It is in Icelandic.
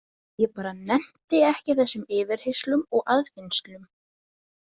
Ég bara nennti ekki þessum yfirheyrslum og aðfinnslum.